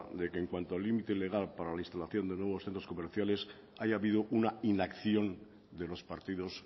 de que en cuanto al límite legal para la instalación de nuevos centros comerciales haya habido una inacción de los partidos